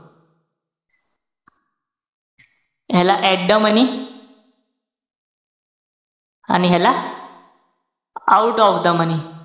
ह्याला at the money आणि ह्याला out of the money.